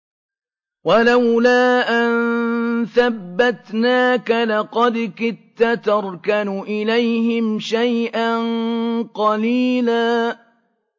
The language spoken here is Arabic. وَلَوْلَا أَن ثَبَّتْنَاكَ لَقَدْ كِدتَّ تَرْكَنُ إِلَيْهِمْ شَيْئًا قَلِيلًا